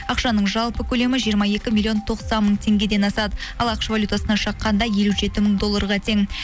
ақшаның жалпы көлемі жиырма екі миллион тоқсан мың теңгеден асады ал ақш валютасына шаққанда елу жеті мың долларға тең